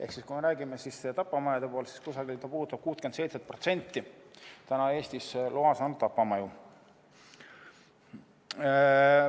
Ehk kui me räägime tapamajadest, siis see puudutab kusagil 67% Eestis loa saanud tapamajadest.